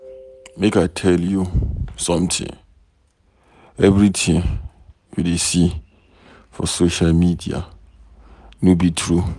Make I tell you something. Everything you dey see for social media no be true.